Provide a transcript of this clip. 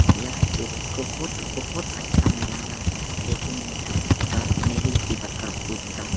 यह एक बोहोत बोहोत अच्छा नजारा देखने में लग रहा है। काश मैं भी इसी प्रकार कूदता --